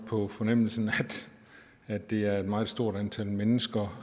på fornemmelsen at det er et meget stort antal mennesker